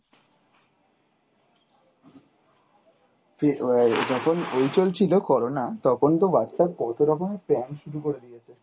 যখন ওই চলছিল corona তখন তো Whatsapp কত রকমের prank শুরু করে দিয়েছে।